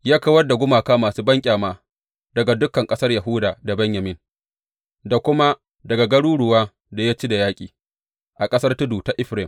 Ya kawar da gumaka masu banƙyama daga dukan ƙasar Yahuda da Benyamin da kuma daga garuruwan da ya ci da yaƙi a ƙasar tudu ta Efraim.